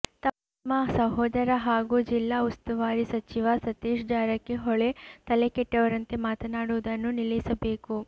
ತಮ್ಮ ಸಹೋದರ ಹಾಗೂ ಜಿಲ್ಲಾ ಉಸ್ತುವಾರಿ ಸಚಿವ ಸತೀಶ್ ಜಾರಕಿಹೊಳಿ ತಲೆಕೆಟ್ಟವರಂತೆ ಮಾತನಾಡುವುದನ್ನು ನಿಲ್ಲಿಸಬೇಕು